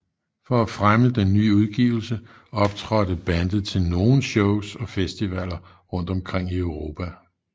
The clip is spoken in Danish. For at fremme den nye udgivelse optrådte bandet til nogen shows og festivaler rundt omkring i Europa